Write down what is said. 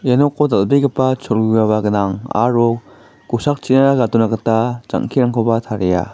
ia noko dal·begipa cholgugaba gnang aro kosakchina gadona gita jang·kerangkoba taria.